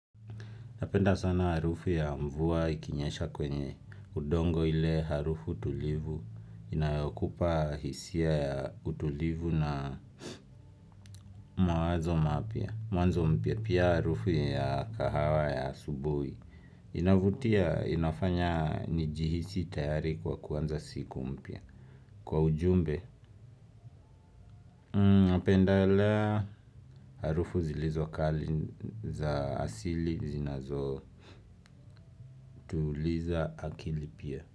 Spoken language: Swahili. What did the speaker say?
Napenda sana harufu ya mvua ikinyesha kwenye udongo ile harufu tulivu inayokupa hisia ya utulivu na mawazo mapya, mwanzo mpya pia harufu ya kahawa ya asubuhi. Inavutia inafanya nijihisi tayari kwa kuanza siku mpya. Kwa ujumbe, napendelea harufu zilizo kali za asili zinazo tuliza akili pia.